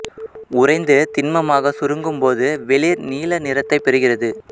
உறைந்து திண்மமாகச் சுருங்கும் போது வெளிர் நீல நிறத்தைப் பெறுகிறது